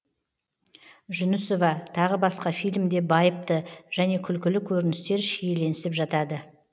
жүнісова тағы басқа фильмде байыпты және күлкілі көріністер шиеленісіп жатады